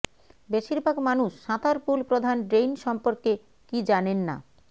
বেশিরভাগ মানুষ সাঁতার পুল প্রধান ড্রেইন সম্পর্কে কি জানেন না